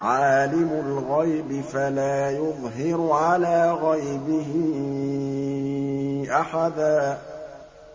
عَالِمُ الْغَيْبِ فَلَا يُظْهِرُ عَلَىٰ غَيْبِهِ أَحَدًا